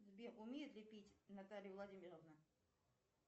сбер умеет ли пить наталья владимировна